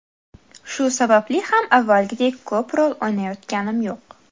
Shu sababli ham avvalgidek ko‘p rol o‘ynayotganim yo‘q.